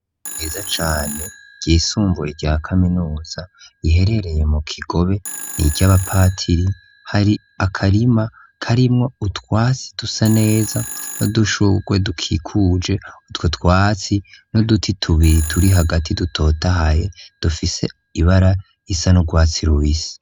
Ishure ryiza cane, ryisumbuye rya Kaminuza, iherereye mu Kigobe, ni iry'abapatiri, hari akarima karimwo utwatsi dusa neza, n'udushurwe dukikuje utwo twatsi, n'uduti tubiri turi hagati, dutotahaye dufise ibara risa n'urwatsi rubisi.